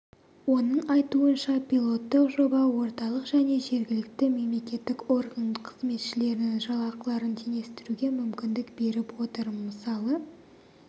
оның айтуынша пилоттық жоба орталық және жергілікті мемлекеттік орган қызметшілерінің жалақыларын теңестіруге мүмкіндік беріп отыр мысалы